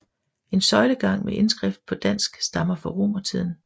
En søjlegang med indskrift på græsk stammer fra romertiden